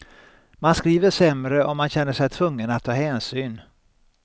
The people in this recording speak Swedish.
Man skriver sämre om man känner sig tvungen att ta hänsyn.